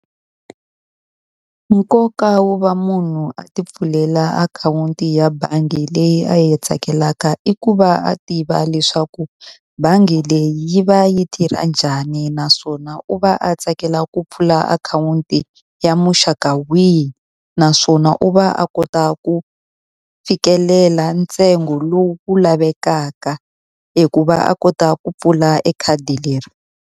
Nkoka wo va munhu a ti pfulela akhawunti ya bangi leyi a yi tsakelaka i ku va a tiva leswaku, bangi leyi yi va yi tirha njhani naswona u va a a tsakela ku pfula akhawunti ya muxaka wihi. Naswona u va a kota ku fikelela ntsengo lowu wu lavekaka eku va a kota ku pfula e khadi leri.